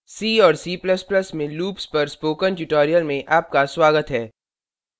c और c ++ में loops पर spoken tutorial में आपका स्वागत है